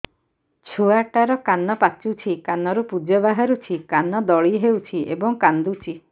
ଛୁଆ ଟା ର କାନ ପାଚୁଛି କାନରୁ ପୂଜ ବାହାରୁଛି କାନ ଦଳି ହେଉଛି ଏବଂ କାନ୍ଦୁଚି